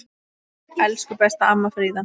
Elsku besta amma Fríða.